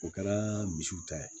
O kɛra misiw ta ye